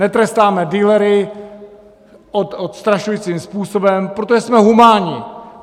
Netrestáme dealery odstrašujícím způsobem, protože jsme humánní!